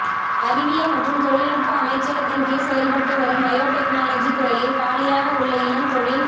அறிவியல் மற்றும் தொழில்நுட்ப அமைச்சகத்தின்கீழ் செயல்பட்டு வரும் பயோடெக்னாலஜி துறையில் காலியாக உள்ள இளம் தொழில்